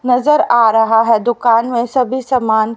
नजर आ रहा है दुकान में सभी समान --